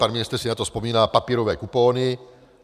Pan ministr si na to vzpomíná - papírové kupony.